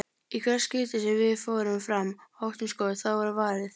Í hvert skipti sem við fórum fram og áttum skot, þá var varið.